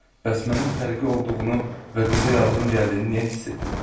Bəs mənə fərqi olduğunu və qıza yazığım gəldiyini niyə hiss etdim?